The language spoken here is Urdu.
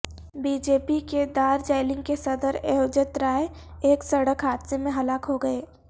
بی جے پی کے دارجیلنگ کے صدر ایوجت رائے ایک سڑک حادثے میں ہلاک ہوگئے